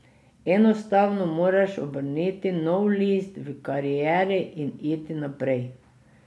Enostavno moraš obrniti nov list v karieri in iti naprej.